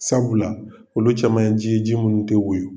Sabula olu caman ye ji ye, ji minnu tɛ woyo.